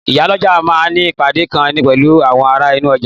Ìyálọ́jà ma ní ìpàdé kan pẹ̀lú àwọn ará inú ọjà